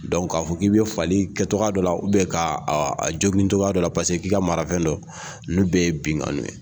k'a fɔ k'i bɛ fali kɛ cogoya dɔ la ka a jogin cogoya dɔ la paseke k'i ka marafɛn dɔn n'u bɛ ye binkanni ye